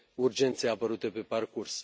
urgențe apărute pe parcurs.